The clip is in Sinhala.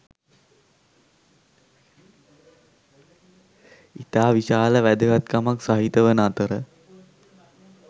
ඉතා විශාල වැදගත්කමක් සහිත වන අතර